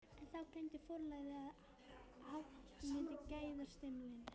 En þá gleymdi forlagið að hagnýta gæðastimpilinn!